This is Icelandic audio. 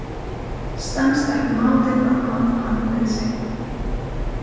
Stenst ekki mátið að máta hann við sig.